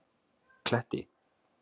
Kletti